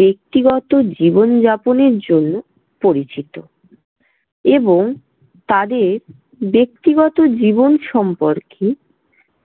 ব্যক্তিগত জীবন যাপনের জন্য পরিচিত এবং তাদের ব্যক্তিগত জীবন সম্পর্কে